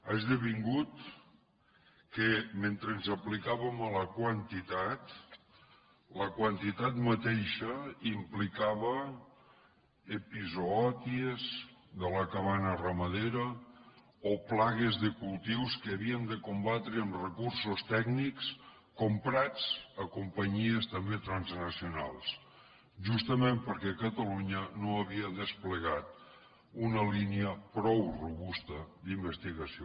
ha esdevingut que mentre ens aplicàvem a la quantitat la quantitat mateixa implicava epizoòties de la cabana ramadera o plagues de cultius que havíem de combatre amb recursos tècnics comprats a companyies també transnacionals justament perquè catalunya no havia desplegat una línia prou robusta d’investigació